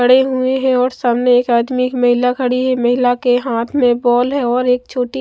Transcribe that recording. खड़े हुए हैं और सामने एक आदमी एक महिला खड़ी है महिला के हाथ में बॉल है और एक छोटी--